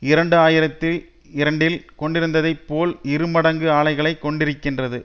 இரண்டு ஆயிரத்தி இரண்டில் கொண்டிருந்ததை போல் இரு மடங்கு ஆலைகளை கொண்டிருக்கின்றது